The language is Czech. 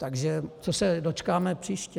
Takže čeho se dočkáme příště?